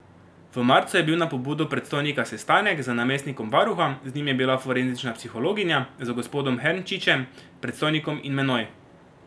V marcu je bil na pobudo predstojnika sestanek z namestnikom varuha, z njim je bila forenzična psihologinja, z gospodom Hernčičem, predstojnikom in menoj.